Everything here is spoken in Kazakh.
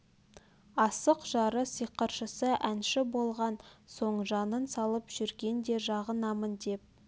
асық жары сиқыршысы әнші болған соң жанын салып жүрген де жағынам деп